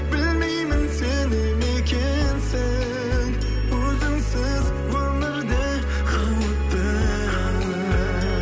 білмеймін сене ме екенсің өзіңсіз өмір де қауіпті